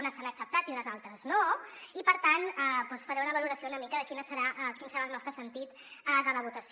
unes s’han acceptat i unes altres no i per tant doncs faré una valoració una mica de quin serà el nostre sentit de la votació